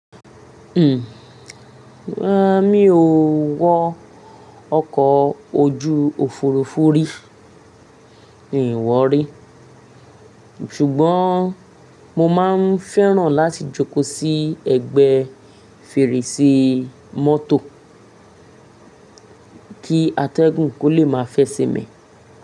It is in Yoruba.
Rárá mi ò wọ ọkọ̀ ojú òfurufú rí, mi ò wọ rí. Ṣùgbọ́n mo máa ń fẹ́ràn láti jókòó sí ẹgbẹ́ fèrèsé mọ́tò, kí atẹ́gùn kó lè máa fẹ́ ṣe mi.